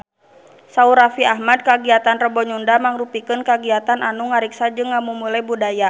Saur Raffi Ahmad kagiatan Rebo Nyunda mangrupikeun kagiatan anu ngariksa jeung ngamumule budaya Sunda